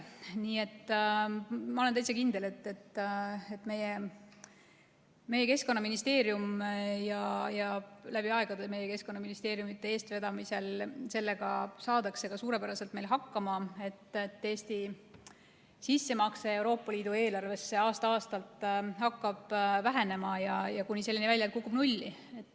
Nii et ma olen täitsa kindel, et läbi aegade meie Keskkonnaministeeriumi eestvedamisel sellega saadakse suurepäraselt hakkama, et Eesti sissemakse Euroopa Liidu eelarvesse aasta-aastalt hakkab vähenema, kuni selleni välja, et see kukub nulli.